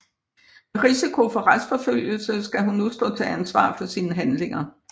Med risiko for retsforfølgelse skal hun nu stå til ansvar for sine handlinger